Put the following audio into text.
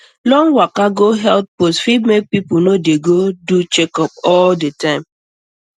long waka go health post fit make people no dey do checkup all the time